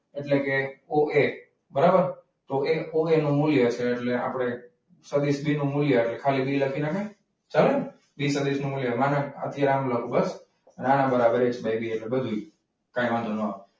એટલે કે ઓએ બરાબર તો એ નું મૂલ્ય છે. સદિશ બી નું મૂલ્ય ખાલી બી લખી નાખે ચાલે ને સદીશ નું મૂલ્ય અહીંથી આમ લખુ બસ નાના બરાબર છે બધું કંઈ વાંધો ન આવે.